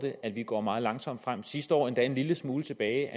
at vi går meget langsomt frem sidste år endda en lille smule tilbage